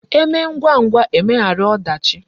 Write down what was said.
E mee ngwa ngwa, e meghara odachi